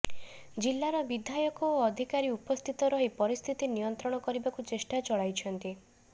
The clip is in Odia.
ଜିଲ୍ଲାର ବିଧାୟକ ଓ ଅଧିକାରୀ ଉପସ୍ଥିତ ରହି ପରିସ୍ଥିତି ନିୟନ୍ତ୍ରଣ କରିବାକୁ ଚେଷ୍ଟା ଚଳାଇଛନ୍ତି